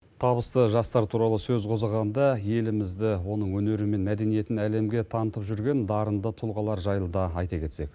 табысты жастар туралы сөз қозғағанда елімізді оның өнері мен мәдениетін әлемге танытып жүрген дарынды тұлғалар жайлы да айта кетсек